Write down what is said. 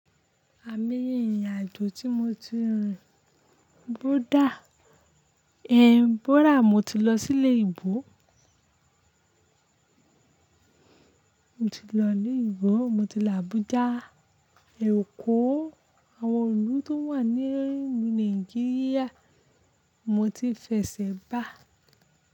Aimoye ìrìn àjò tí mo ti rin. Koódà, Ebola, mo ti lọ sí lu oyinbo Mo ti lọ ilu oyinbo, mo ti lọ Abuja, Èkó. Àwọn ìlú tó wà ní Nàìjíríà mo ti fẹsẹ̀ bá.